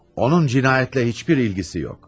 Onun cinayətlə heç bir ilgisi yox.